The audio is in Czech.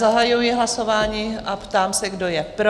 Zahajuji hlasování a ptám se, kdo je pro?